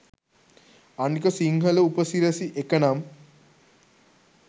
අනික සිංහල උපසිරැසි එක නම්